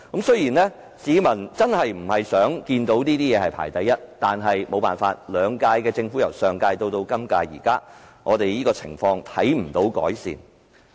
雖然市民真的不想看到這方面排名第一，但由上屆政府至本屆政府，情況未有改善。